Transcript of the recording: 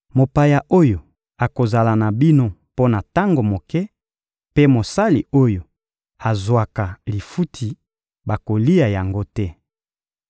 Mopaya oyo akozala na bino mpo na tango moke mpe mosali oyo azwaka lifuti bakolia yango te.